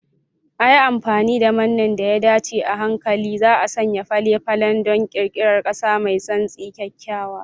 A yi amfani da manne da ya dace, a hankali za'a sanya fale-falen don ƙirƙirar ƙasa mai santsi, kyakkyawa.